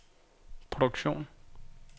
produktion